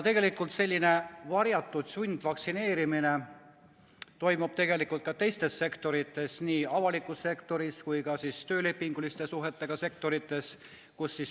Tegelikult toimub varjatud sundvaktsineerimine ka teistes sektorites, nii avalikus sektoris kui ka töölepinguliste suhetega sektorites.